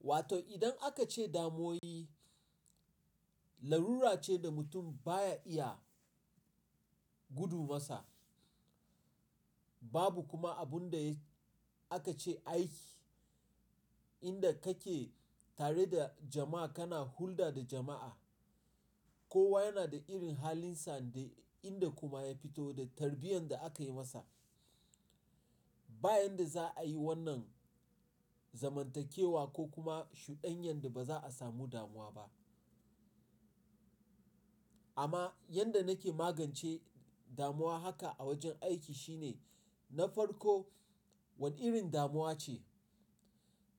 Wa to idan aka ce damuwoyii larura ce da mutum baya iya gudu masa. Babu kuma abun da aka ce aiki inda kake tare da jama'a kana hulɗa da jama'a. Kowa yana da irin halinsa da inda kuma ya fito da tarbiyyar da aka yi masa. Bayan da za'a yi wannan zamantakewa ko kuma shuɗanyan da ba za'a samu damuwa ba. Amma yadda nake magance damuwa haka a wajen aiki shine na farko wane irin damuwa ce?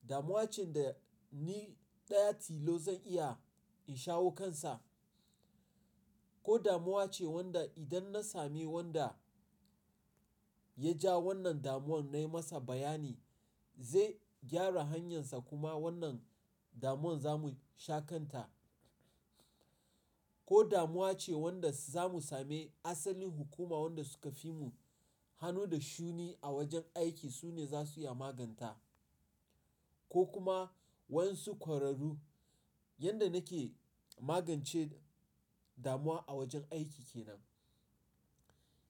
Damuwa ce da ni daya tilo zan iya in shawo kansa ko damuwa ce wanda idan na sami wanda ya jawo wannan damuwan nayi masa bayani zai gyara hanyarsa kuma wannan damuwan zamu shakanta, ko damuwa ce wanda zamu sami asalin hukuma wanda suka fi mu hannu da shuni a wajen aiki sune za su iya maganta ko kuma wasu ƙwararru. Yanda nake magance damuwa a wajen aiki kenan.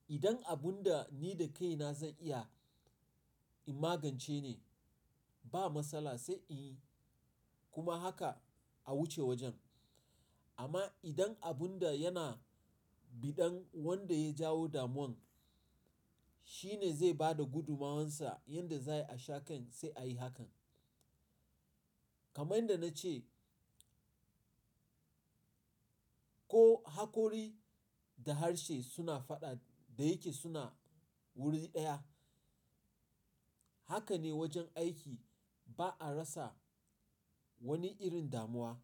Idan abun da ni da kaina zan iya in magance ne ba matsala sai in kuma haka a wuce wajen. Amma idan abun da yana biɗan wanda ya jawo damuwan shi ne zai bada gudummawarsa yanda za'a sha kan sai a yi hakan. Kaman da na ce ko hakori da harshe suna faɗa da yake suna wuri ɗaya, haka ne wajen aiki ba'a rasa wani irin damuwa.